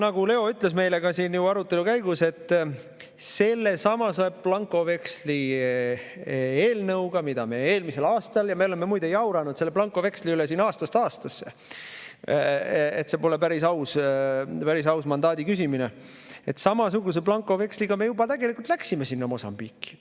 Nagu Leo ütles meile arutelu käigus blankoveksli eelnõu kohta, mida me eelmisel aastal – ja me oleme muide jauranud selle blankoveksli üle siin aastast aastasse, et see pole päris aus mandaadi küsimine –, samasuguse blankoveksli alusel me juba läksime sinna Mosambiiki.